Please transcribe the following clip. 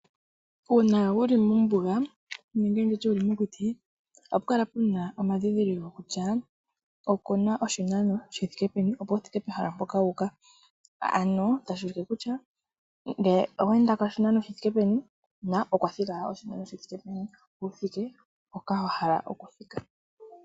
Uuna wuli mombunga nenge nditye wuli mokuti ohapu kala puna omandhindhiliko kutya okuna oshinano shithike peni opo wu thike pehala mpoka wuuka. Ano tashuulike kutya ngeyi oweendako oshinano shithike peni na okwathigala oshinano shithike peni opo wuthike mpoka wahala okuthika.